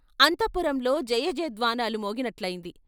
అంతఃపురంలో జయజయ ధ్వానాలు మోగినట్లయింది.